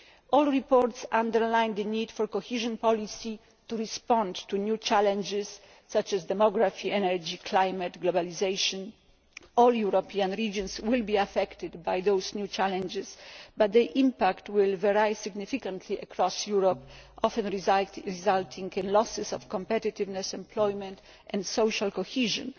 All the reports underline the need for cohesion policy to respond to new challenges such as demography, energy, climate and globalisation. All European regions will be affected by those new challenges, but their impact will vary significantly across Europe, often resulting in losses of competitiveness, employment and social cohesion.